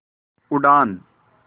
उड़ान